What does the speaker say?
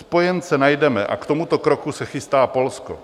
Spojence najdeme a k tomuto kroku se chystá Polsko.